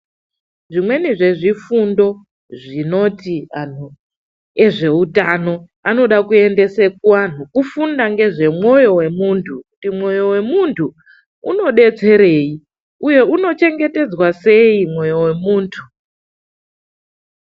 Zvimweni zvezvifundo zvinoti anthu ezveutano anoda kuendese kuantu kufunda ngezvemwoyo wemuntu, kuti mwoyo wemuntu unobetserei uye unochengetedzwa sei mwoyo wemunthu?